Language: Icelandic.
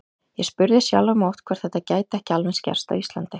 Ég spurði sjálfan mig oft hvort þetta gæti ekki alveg eins gerst á Íslandi.